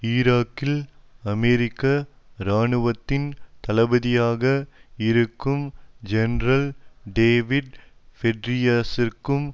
ஈராக்கில் அமெரிக்க இராணுவத்தின் தளபதியாக இருக்கும் ஜெனரல் டேவிட் பெட்ரியஸிற்கும்